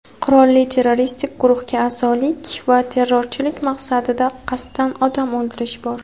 qurolli terroristik guruhga a’zolik va terrorchilik maqsadida qasddan odam o‘ldirish bor.